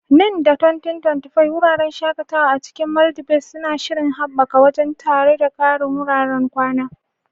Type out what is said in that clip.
Nan da 2025, wuraren shakatawa a cikin Maldives suna shirin haɓaka wajen, tare da ƙarin wuraren kwana.